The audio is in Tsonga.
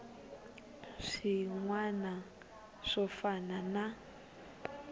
swin wana swo fana na